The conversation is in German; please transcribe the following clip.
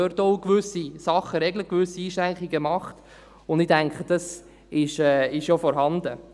Diese regeln dort auch gewisse Dinge und machen gewisse Einschränkungen, und ich denke, das ist auch vorhanden.